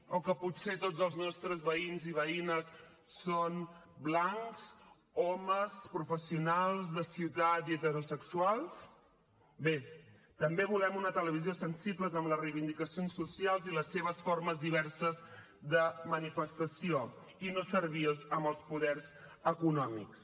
o que potser tots els nostres veïns i veïnes són blancs homes professionals de ciutat i heterosexuals bé també volem una televisió sensible amb les reivindicacions socials i les seves formes diverses de manifestació i no servils amb els poders econòmics